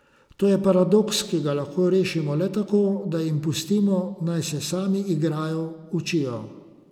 To je paradoks, ki ga lahko rešimo le tako, da jim pustimo, naj se sami igrajo, učijo.